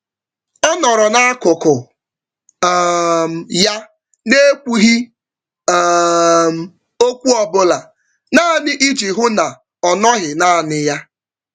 Ọ nọrọ n'akụkụ um ya, N'Ekwughi um ókwú ọbula, naanị iji hụ na ọnọghị nanị ya